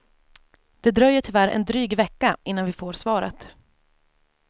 Det dröjer tyvärr en dryg vecka innan vi får svaret.